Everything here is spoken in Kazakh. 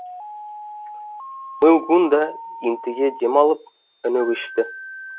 мылгун да ентіге дем алып үні өшті